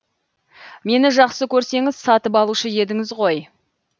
мені жақсы көрсеңіз сатып алушы едіңіз ғой